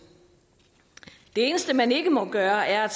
det eneste man ikke må gøre er at